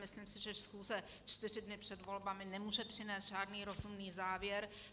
Myslím si, že schůze čtyři dny před volbami nemůže přinést žádný rozumný závěr.